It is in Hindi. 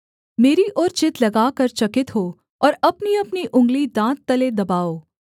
मेरी ओर चित्त लगाकर चकित हो और अपनीअपनी उँगली दाँत तले दबाओ